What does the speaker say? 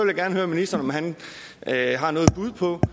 er med i